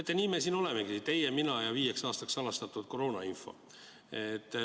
Teate, nii me siin olemegi: teie, mina ja viieks aastaks salastatud koroonainfo.